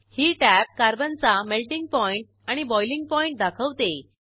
ही tab कार्बनचा melting point आणि boiling point दाखवते